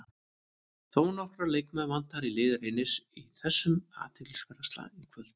Þónokkra leikmenn vantar í lið Reynis í þessum athyglisverða slag í kvöld.